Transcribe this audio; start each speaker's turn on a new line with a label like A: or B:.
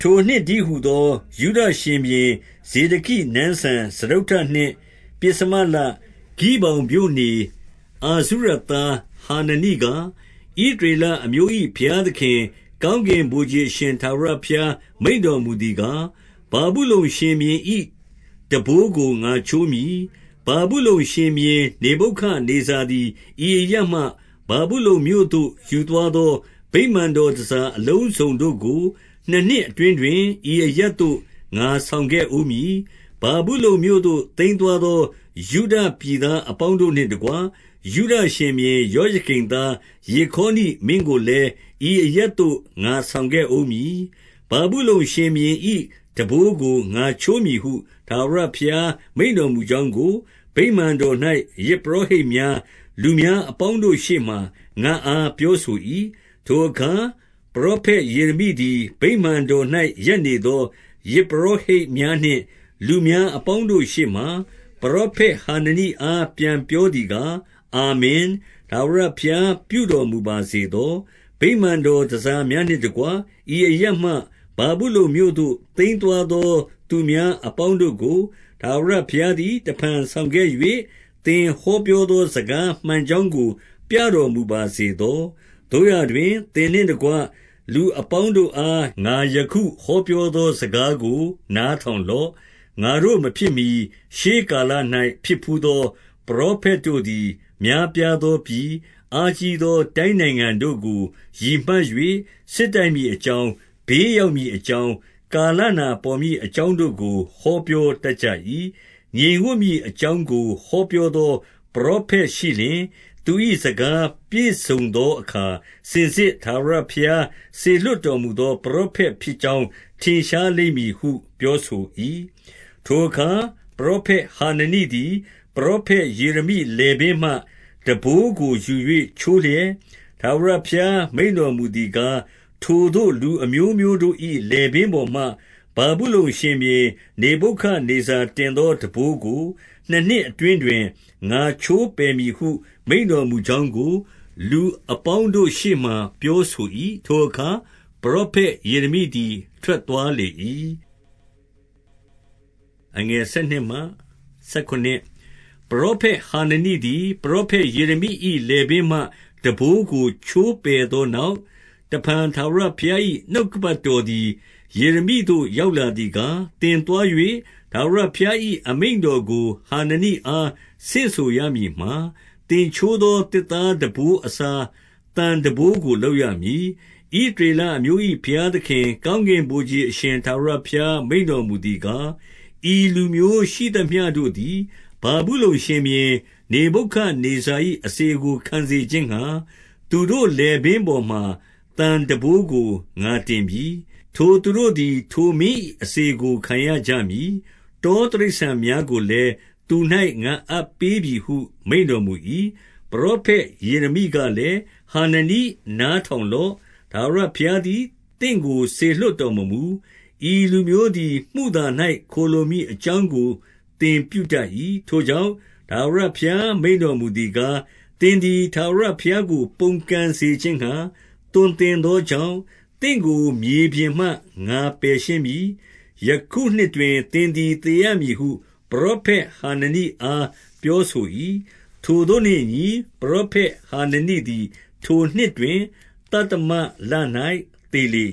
A: ထိုနှစ်တည်းဟူသော ယုဒရှင်ဘုရင် ဇေဒကိ နန်းစံ စတုတ္ထနှစ်၊ ပဥ္စမလတွင်၊ ဂိဗောင်မြို့နေ၊ အာဇု ရသားဟာနနိက၊ 2 ဣသရေလအမျိုး၏ ဘုရားသခင်၊ ကောင်းကင် ဗိုလ်ခြေအရှင် ထာဝရဘုရား မိန့်တော်မူသည်ကား၊ ဗာဗုလုန်ရှင်ဘုရင်၏ ထမ်းဘိုးကို ငါချိုးမည်။ 3 ဗာဗုလုန် ရှင်ဘုရင် နေဗုခဒ်နေဇာသည် ဤအရပ်မှ ဗာဗုလုန်မြို့သို့ ယူသွားသောဗိမာန်တော် တန်ဆာအလုံးစုံတို့ကို နှစ်နှစ်အတွင်းတွင်၊ ဤအရပ်သို့ ငါဆောင်ခဲ့ဦးမည်။ 4 ဗာဗုလုန်မြို့သို့ သိမ်းသွားသော ယုဒပြည်သား အပေါင်းတို့နှင့်တကွ၊ ယုဒရှင်ဘုရင် ယောယကိမ်သား ယေခေါနိမင်းကိုလည်း၊ ဤအရပ် သို့ငါဆောင်ခဲ့ဦးမည်။ ဗာဗုလုန်ရှင်ဘုရင်၏ ထမ်းဘိုးကို ငါချိုးမည်ဟု ထာဝရ ဘုရားမိန့်တော်မူကြောင်းကို၊ ဗိမာန်တော်၌ ယဇ် ပုရောဟိတ်များ၊ လူများအပေါင်းတို့ ရှေ့မှာ ငါ့အား ပြောဆို၏။ 5 ထိုအခါ ပရောဖက် ယေရမိသည် ဗိမာန်တော်၌ ရပ်နေသော ယဇ်ပုရောဟိတ်များနှင့် လူများအပေါင်းတို့ ရှေ့မှာ၊ ပရောဖက်ဟာနနိအား ပြန်ပြောသည်ကား၊ 6 အာမင်၊ ထာဝရဘုရား ပြုတော်မူပါစေသော။ ဗိမာန်တော်တန်ဆာများနှင့်တကွ၊ ဤအရပ်မှ ဗာဗုလုန် မြို့သို့ သိမ်းသွားသော သူများအပေါင်းတို့ကို၊ ထာဝရ ဘုရားသည် တဖန်ဆောင်ခဲ့၍၊ သင်ဟောပြောသော စကားမှန် ကြောင်းကို ပြတော်မူပါစေသော။ 7 သို့ရာတွင်၊ သင်နှင့်တကွ လူအပေါင်းတို့အား ငါယခု ဟောပြောသော စကားကို နားထောင်လော့။ 8 ငါတို့မဖြစ်မှီ ရှေးကာလ၌ဖြစ်ဘူးသော ပရော ဖက်တို့သည်၊ များပြားသော ပြည်၊ အားကြီးသော တိုင်း နိုင်ငံတို့ကို ရည်မှတ်၍၊ စစ်တိုက်မည်အကြောင်း၊ ဘေး ရောက်မည်အကြောင်း၊ ကာလနာပေါ်မည်အကြောင်း တို့ကို ဟောပြောတတ်ကြ၏။ 9 ငြိမ်ဝပ်မည်အကြောင်းကို ဟောပြောသော ပရောဖက်ရှိလျှင်၊ သူ၏ စကားပြည့်စုံသောအခါ စင်စစ် ထာဝရဘုရား စေလွှတ်တော်မူသော ပရောဖက်ဖြစ် ကြောင်း ထင်ရှားလိမ့်မည်ဟု ပြောဆို၏။ 10 ထိုအခါ ပရောဖက် ဟာနနိသည် ပရောဖက် ယေရမိလည်ပင်း မှ ထမ်းဘိုးကို ယူ၍ချိုးလျက်၊ 11 ထာဝရဘုရား မိန့်တော်မူသည်ကား၊ ထိုသို့ လူအမျိုးမျိုးတို့၏ လည်ပင်းပေါ်မှာ ဗာဗုလုန် ရှင်ဘုရင် နေဗုခဒ်နေဇာ တင်သောထမ်းဘိုး ကိုနှစ်နှစ်အတွင်းတွင် ငါချိုးပယ်မည်ဟု မိန့်တော်မူကြောင်းကို၊ လူအပေါင်း တို့ရှေ့မှာ ပြောဆို၏။ ထိုအခါ ပရောဖက်ယေရမိသည် ထွက်သွားလေ၏။ 12 ပရောဖက်ဟာ နနိသည် ပရောဖက် ယေရမိ၏ လည်ပင်းမှ ထမ်းဘိုးကို ချိုးပယ်သောနောက်၊ တဖန် ထာဝရဘုရား၏ နှုတ်ကပတ်တော်သည် ယေရမိသို့ ရောက်လာသည်ကား၊ 13 သင်သွား၍ ထာဝရဘုရား၏ အမိန့်တော်ကို ဟာနနိအား ဆင့်ဆိုရမည်မှာ၊ သင်ချိုးသော သစ်သား ထမ်းဘိုးအစား၊ သံထမ်းဘိုးကို လုပ်ရမည်။ 14 ဣသရေလအမျိုး၏ ဘုရားသခင်၊ ကောင်းကင် ဗိုလ်ခြေအရှင် ထာဝရဘုရား မိန့်တော်မူသည်ကား၊ ဤလူမျိုးရှိသမျှတို့သည် ဗာဗုလုန်ရှင်ဘုရင် နေဗုခဒ် နေဇာ၏ အစေကို ခံစေခြင်းငှါ၊ သူတို့လည်ပင်းပေါ်မှာ သံထမ်းဘိုးကို ငါတင်ပြီ။ ထိုသူတို့သည် ထိုမင်း၏ အစေ ကို ခံရကြမည်။ တောတိရစ္ဆာန်များကိုလည်း၊ သူ၌ ငါအပ်ပေးပြီဟု မိန့်တော်မူ၏။ 15 ပရောဖက် ယေရမိကလည်း၊ ဟာနနိ၊ နား ထောင်လော့။ ထာဝရဘုရားသည် သင့်ကို စေလွှတ် တော်မမူ။ ဤလူမျိုးသည် မုသာ၌ ခိုလှုံမည်အကြောင်းကို သင်ပြုတတ်၏။ 16 ထိုကြောင့်၊ ထာဝရဘုရား မိန့်တော်မူသည်ကား၊ ဥင်သည်ထာဝရ ဘုရားကို ပုန်ကန်စေခြင်းငှါ သွန်သင်သော ကြောင့်၊ သင့်ကို မြေပြင်မှ ငါပယ်ရှင်းမည်။ ယခုနှစ်တွင် သင်သည် သေရမည်ဟု ပရောဖက်ဟာနနိ အား ပြောဆို၏။ 17 ထိုသို့နှင့်အညီ ပရောဖက်ဟာနနိသည် ထိုနှစ် တွင်၊ သတ္တမလ၌ သေလေ